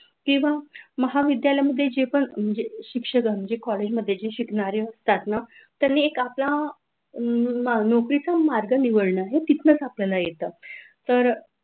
किंवा महाविद्यालय मध्ये जे पण म्हणजे चे पण शिक्षक म्हणजे कॉलेजमध्ये शिकणाऱ्या असतात ना, आपला नोकरीचा मार्ग निवडन येतील नाच आपल्याला येत.